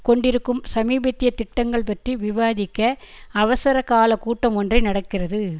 கொண்டிருக்கும் சமீபத்திய திட்டங்கள் பற்றி விவாதிக்க அவசர காலகூட்டம் ஒன்றை நடக்கிறது